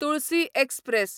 Tulsi express